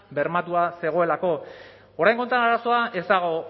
bermatua zegoelako oraingo honetan arazoa ez dago